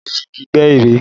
Adé fi igi gbẹ́ ère